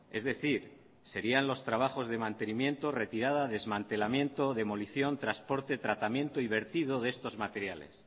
es decir serían los trabajos de mantenimiento retirada desmantelamiento demolición transporte tratamiento y vertido de estos materiales